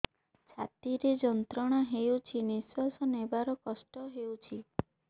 ଛାତି ରେ ଯନ୍ତ୍ରଣା ହେଉଛି ନିଶ୍ଵାସ ନେବାର କଷ୍ଟ ହେଉଛି